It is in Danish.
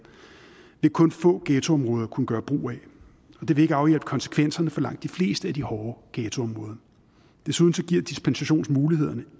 vil kun få ghettoområder kunne gøre brug af og det vil ikke afhjælpe konsekvenserne for langt de fleste af de hårde ghettoområder desuden giver dispensationsmulighederne